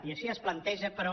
i així es planteja però